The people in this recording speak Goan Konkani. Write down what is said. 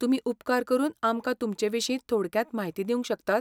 तुमी उपकार करून आमकां तुमचे विशीं थोडक्यांत म्हायती दिवंक शकतात?